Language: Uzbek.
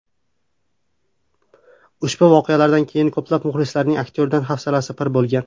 Ushbu voqealardan keyin ko‘plab muxlislarning aktyordan hafsalasi pir bo‘lgan.